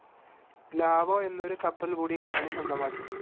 Lao എന്നൊരു കപ്പൽ കൂടി കമ്പനി സ്വന്തമാക്കി.